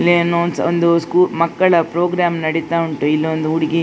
ಇಲ್ಲಿ ಏನೋ ಒಂದು ಸು ಒಂದು ಮಕ್ಕಳ ಪ್ರೋಗ್ರಾಮ್ ನಡೀತಾ ಉಂಟು ಇಲ್ಲಿ ಒಂದು ಹುಡುಗಿ.